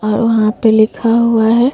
और वहाँ पे लिखा हुआ है।